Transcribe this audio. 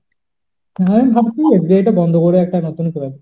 হ্যাঁ আমি ভাবছিলাম যে এটা বন্ধ করে একটা নতুন করে নেব।